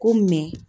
Ko